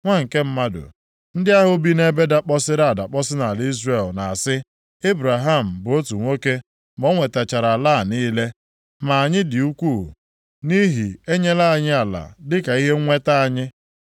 “Nwa nke mmadụ, ndị ahụ bi nʼebe dakpọsịrị adakpọsị nʼala Izrel na-asị, ‘Ebraham bụ otu nwoke, ma o nwetachara ala a niile! Ma anyị dị ukwuu, nʼihi enyela anyị ala dịka ihe nweta anyị.’